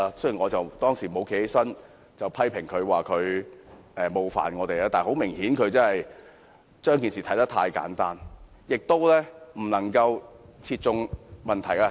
雖然我沒有在他發言時站起來批評他冒犯我，但很明顯，他把事情看得太簡單，而他的說法亦未能切中問題的核心。